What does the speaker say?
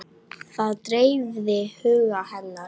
Það dreifði huga hennar.